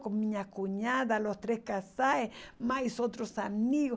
com minha cunhada, os três casais, mais outros amigos.